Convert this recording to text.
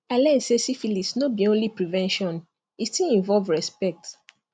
i learn say syphilis no be only prevention e still involve respect